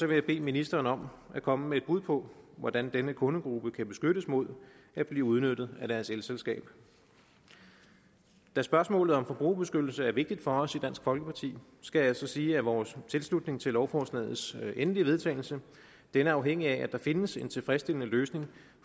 jeg bede ministeren om at komme med et bud på hvordan denne kundegruppe kan beskyttes mod at blive udnyttet af deres elselskab da spørgsmålet om forbrugerbeskyttelse er vigtigt for os i dansk folkeparti skal jeg sige at vores tilslutning til lovforslagets endelige vedtagelse er afhængig af at der findes en tilfredsstillende løsning